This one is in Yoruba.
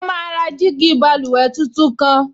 Wọ́n máa ra jígí báluwẹ̀ tuntun kan